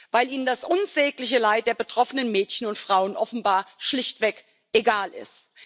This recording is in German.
Weil ihnen das unsägliche Leid der betroffenen Mädchen und Frauen offenbar schlichtweg egal ist.